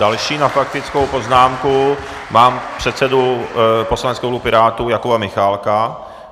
Další na faktickou poznámku mám předsedu poslaneckého klubu Pirátů Jakuba Michálka.